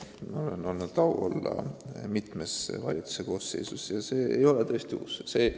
Mul on olnud au olla mitme valitsuse koosseisus ja see ei ole tõesti uus lahendus.